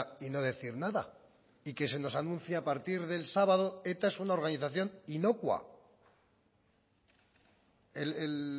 y no decir nada y que se nos anuncia a partir del sábado eta es una organización inocua el